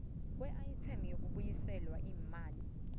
kweayithemu yokubuyiselwa imali